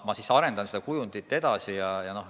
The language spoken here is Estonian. Ma arendan seda kujundit edasi.